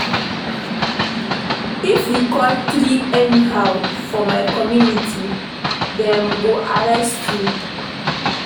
If you cut tree anyhow for my community, dem go arrest you.